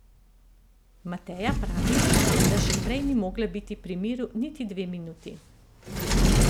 Mateja pravi, da že prej ni mogla biti pri miru niti dve minuti.